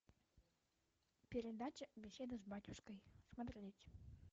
передача беседа с батюшкой смотреть